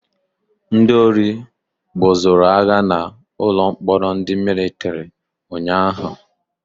Ndị ori gbusoroagha na ụlọ mkpọrọ ndị Mịlịtrị ụnyaahụ